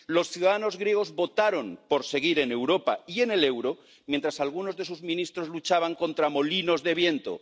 Los ciudadanos griegos votaron por seguir en Europa y en el euro, mientras algunos de sus ministros luchaban contra molinos de viento.